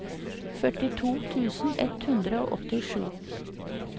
førtito tusen ett hundre og åttisju